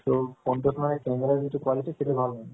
so phone তোৰ যিতো camera quality সেইটো ভাল হয়